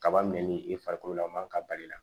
Kaba minɛ ni i farikololaman ka bali la